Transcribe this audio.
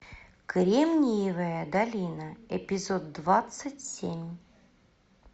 кремниевая долина эпизод двадцать семь